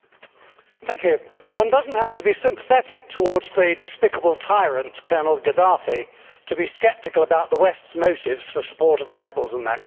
Madam President, one does not have to be sympathetic towards the despicable tyrant Colonel Gaddafi to be sceptical about the West's motives for support of the rebels in that country.